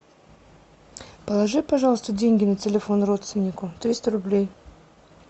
положи пожалуйста деньги на телефон родственнику триста рублей